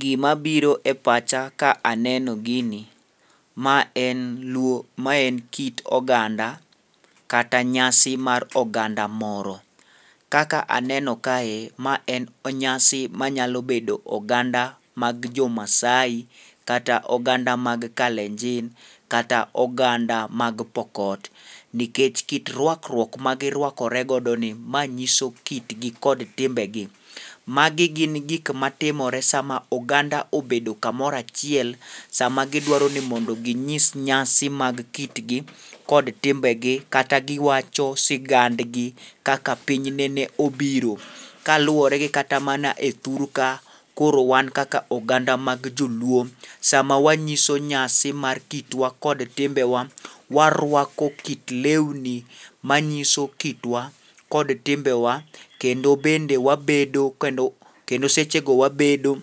Gimabiro e pacha ka aneno gini ma en kit oganda kata nyasi mar oganda moro. Kaka aneno kae, ma en nyasi manyalo bedo oganda mag jomaasai kata oganda mag kalenjin kata oganda mag pokot, nikech kit rwakruok magirwako re godo ni manyiso kitgi kod timbegi. Magi gin gik matimore sama oganda obedo kamoro achiel sama gidwaro ni mondo ginyis nyasi mag kitgi kod timbegi kata giwacho sigandgi kaka piny nene obiro. Kaluwore gi kata mana e thur ka, koro wan kaka oganda mag joluo, sama wanyiso nyasi mar kitwa kod kitemba, warwako kit lweni manyiso kitwa kod timbewa, kendo sechego wabedo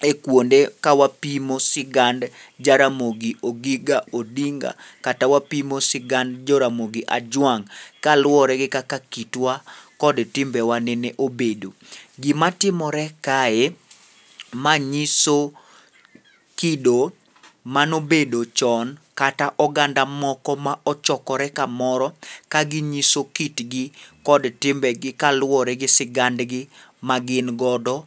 e kwonde ka wapimo sigand Jaramogi Oginga Odinga kata wapimo sigand Joramogi ajwang',kaluwore gi kaka kitwa kod timbewa nene obedo. Gimatimore kae, ma nyiso kido manobedo chon kata oganda moko ma ochakorore kamoro kaginyiso kitgi kod timbegi kaluwore kod sigandgi magin godo.